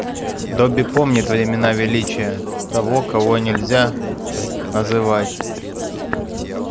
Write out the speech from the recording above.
добби помнит времена величия того кого нельзя называть